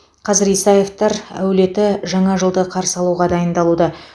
қазір исаевтар әулеті жаңа жылды қарсы алуға дайындалуда